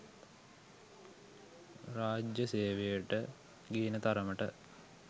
රාජ්ජ සේවයට ගේන තරමට